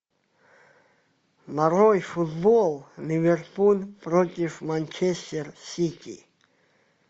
нарой футбол ливерпуль против манчестер сити